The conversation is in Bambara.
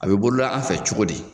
A bɛ bolola an fɛ cogodi?